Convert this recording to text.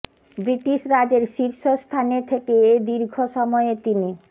British রাজের শীর্ষ স্থানে থেকে এ দীর্ঘ সময়ে তিনি